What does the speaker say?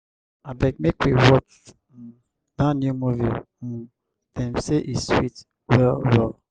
abeg make we watch um dat new movie um dem say e sweet well-well